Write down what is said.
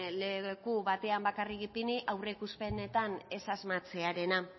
leku batean bakarrik ipini aurreikuspenetan ez asmatzearena